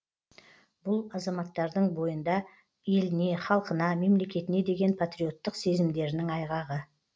бұл азаматтардың бойында еліне халқына мемлекетіне деген патриоттық сезімдерінің айғағы